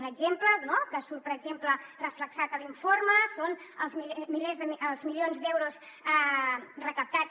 un exemple que surt per exemple reflectit a l’informe són els milions d’euros recaptats